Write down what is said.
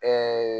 Ɛɛ